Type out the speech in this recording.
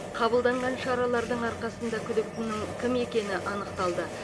қабылданған шаралардың арқасында күдіктінің кім екені анықталды